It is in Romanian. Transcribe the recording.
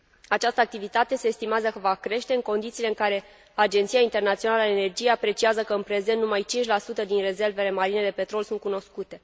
Această activitate se estimează că va crește, în condițiile în care Agenția Internațională a Energiei apreciază că, în prezent, numai 5 din rezervele marine de petrol sunt cunoscute.